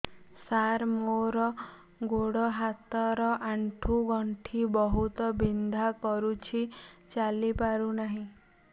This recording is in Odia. ସାର ମୋର ଗୋଡ ହାତ ର ଆଣ୍ଠୁ ଗଣ୍ଠି ବହୁତ ବିନ୍ଧା କରୁଛି ଚାଲି ପାରୁନାହିଁ